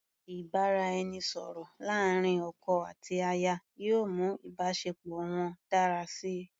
Ìbáraẹnisọ̀rọ̀ láàrin ọkọ àti aya yóò mú ìbáṣepọ̀ wọn dára síi.